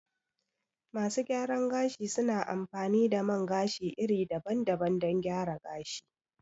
Masu gyaran gashi su na amfani da man gashi iri daban daban don gyara gashi